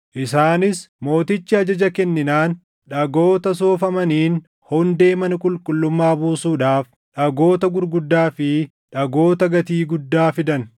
Isaanis mootichi ajaja kenninaan dhagoota soofamaniin hundee mana qulqullummaa buusuudhaaf dhagoota gurguddaa fi dhagoota gatii guddaa fidan.